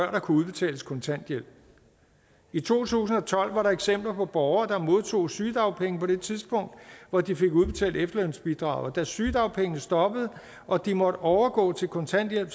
der kunne udbetales kontanthjælp i to tusind og tolv var der eksempler på borgere der modtog sygedagpenge på det tidspunkt hvor de fik udbetalt efterlønsbidraget og da sygedagpengene stoppede og de måtte overgå til kontanthjælp